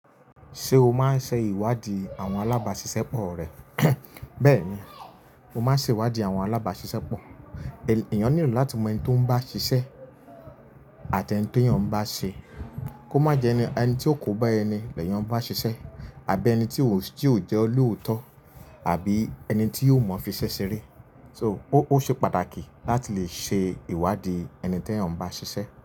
Ṣé o máa ń ṣe ìwádìí àwọn alábàáṣiṣẹ́ pọ̀ rẹ? Bẹ́ẹ̀ni, mo máa ń ṣe ìwádìí àwọn alábáṣiṣẹ́ pọ̀. Ènìyàn nílò láti mọ ẹni tó ń bá ṣiṣẹ́ àti ẹni tí ènìyàn bá ṣe. Kó má jẹ ẹni tí ó kò bá ẹni lẹ́yan n bàa ṣiṣẹ́ àbí ẹni tí ó jẹ́ olóòótọ́ àbí ẹni tí yóò mọ fisẹ́ ṣeré. So ó ṣe pàtàkì láti lè ṣe ìwádìí ẹni tí ènìyàn bá ṣiṣẹ́.